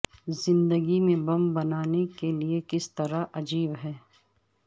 زندگی میں بم بنانے کے لئے کس طرح عجیب ہے